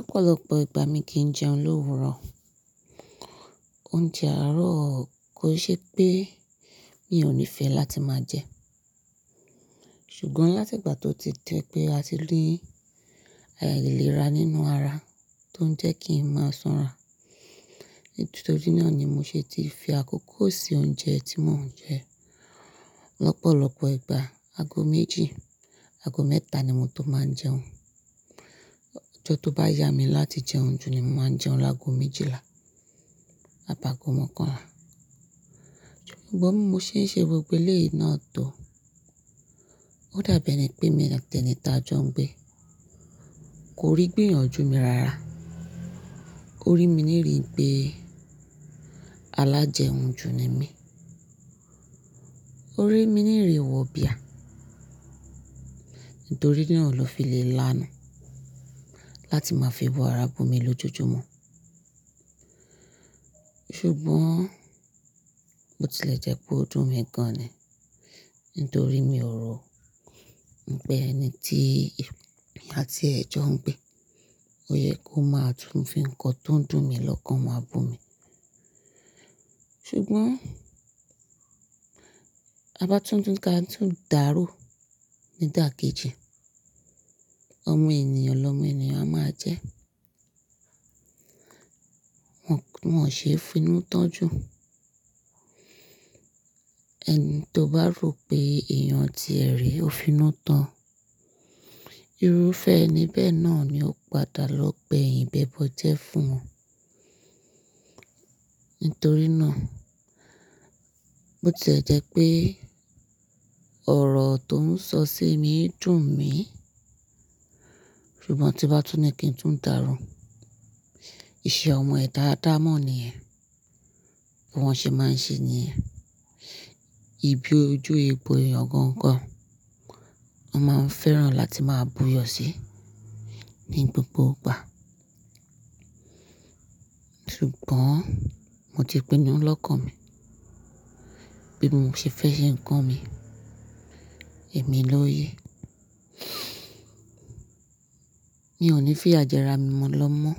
Ọ̀pọ̀lọpọ̀ ìgbà mi kì í jẹun l'òwúrò, oúnjẹ àárọ̀ kò ṣe pé mi ò ní fẹ́ láti máa jẹ. Ṣùgbọ́n láti ìgbà tó ti di pé a ti rí àìlera nínú ara tó ń jẹ́ kí n máa sanra. Nítorí náà ni mo ṣe ti fi àkókò sí oúnjẹ tí mò ń jẹ. Lopọ̀lọpọ̀ ìgbà ago méjì, ago mẹ́ta ni mo tó máa ń jẹun. Ọjọ́ tó bá yá mi láti jẹun jù ni mo máa jẹun lágo méjìlá, àbágo mọ́kànlá. Ṣùgbọ́n bi mo ṣe ń ṣe gbogbo elé yi náà tò ó dàbí ẹni pé emi àti ẹ̀ní tá jọ ń gbé. Kò rí gbìyànjú mi rara. Ó rí mi níri pé alájẹun-jù ni mí. Ó rí mi níri wọ̀ bíà. Nítorí náà ló fi le lánu láti máa fi ebu ara bú mi lójoojúmọ́. Ṣùgbọ́n bo ti lè jẹ pé ó dùn mi gan-an ni. Nítorí mi ò rò pé ẹni tí èmi àti ẹ̀ jọ ń gbé, ó yẹ kó máa tùn-ún fi ń kọn ton dùn mi lọ́kàn máa bú mi. Ṣùgbọ́n ta bá tún ni ká tún dàaro ní dà kejì, ọmọ ènìyàn lọ́mọ ènìyàn máa jẹ́. Wọn ò ṣe finútán jù. Ẹni tó bá rò pé èèyàn ti ẹ̀ rí ó finútán, irúfẹ́ ẹni bẹ́ẹ̀ náà ni ó padà lọ gbẹ̀yìn bẹ bọ jẹ́ fún won. Nítorí náà, bo ti lè jẹ́ pé ọ̀rọ̀ tó ń sọ sí mi ń dùn mí. Ṣùgbọ́n tí n bá tún ní kí n tún dàaro, iṣẹ́ ọmọ ẹ̀da adamọ́ ni yen bí wọ́n ṣe máa ń ṣe niyẹn. Ibi ojú egbò eyan gan gan, won máa ń fẹ́ràn láti máa buyọ̀ sí ní gbogbo ìgbà. Ṣùgbọ́n mo ti pinu lọ́kàn mi, bí mo ṣe fẹ́ ṣe ń kàn mi, èmi ló yẹ. Mi ò ní fi iya je ra mi mọ́ lọ́mọ.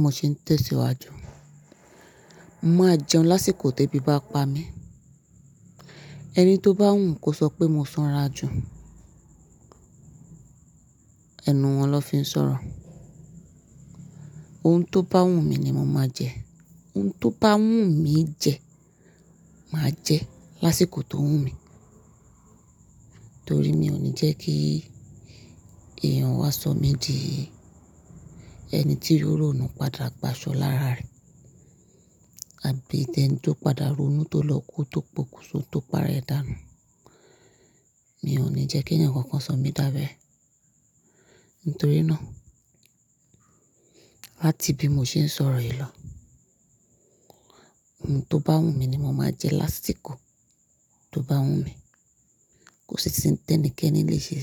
Mo sì ń tẹ̀síwájú. Mo máa jẹun lásìkò ti ebí bá pa mí. Ẹni tó bá wu kó sọ pé mo sanra jù. Ẹnu wọn ló fi ń sọ̀rọ̀. Oun tó bá wu mi ni mo máa jẹ. Oun tó bá wu mi jẹ, màá jẹ lásìkò tó wu mi. Torí mi ò ní jẹ́ kí èèyàn wá sọ mí di ẹni tí ri ronù padà gba ado lára re àbí tẹni tó padà ronú tó lọ kú tó pokùn so tó pá rẹ dànù. Mi ò ní jẹ́ kí ẹ̀yàn kankan sọ mí dàbí ẹ. Nítorí náà láti bí mo ṣe ń sọ̀rọ̀ yìí lọ, oun tó bá wu mi ni mo máa jẹ lásìkò tó bá wu mi. Kòsì si n tẹ́nìkẹ́ní lè ṣe.